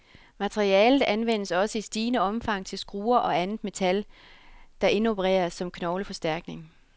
Materialet anvendes også i stigende omfang til skruer og andet metal, der indopereres som knogleforstærkning.